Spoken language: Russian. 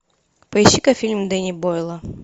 поищи ка фильм дэни бойла